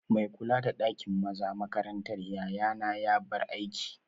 Mai kula da ɗakin maza makarantar yayana ya bar aiki